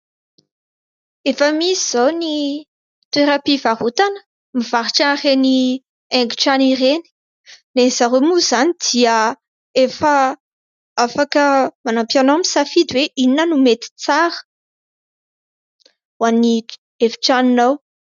Efa misy izao ny toeram-pivarotana mivarotra an'ireny haingotrano ireny. Ny an'ny zareo moa izany dia efa afaka manampy anao misafidy hoe inona no mety tsara ho an'ny efitranonao.